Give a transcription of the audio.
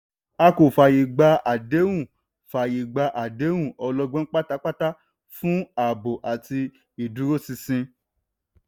a kò fàyè gba àdéhùn fàyè gba àdéhùn ọlọ́gbọ́n pátápátá fún ààbò àti ìdúróṣinṣin.